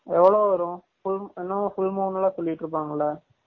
எவலோ வரும் full moon என்னவோ full moon லா சொல்லிட்டு இருப்பங்கால